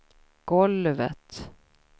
golvet